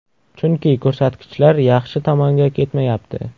Chunki ko‘rsatkichlar yaxshi tomonga ketmayapti.